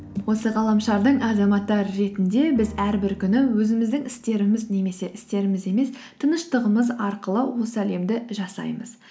осы ғаламшардың азаматтары ретінде біз әрбір күні өзіміздің істеріміз немесе істеріміз емес тыныштығымыз арқылы осы әлемді жасаймыз